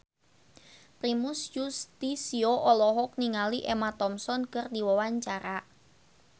Primus Yustisio olohok ningali Emma Thompson keur diwawancara